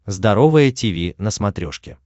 здоровое тиви на смотрешке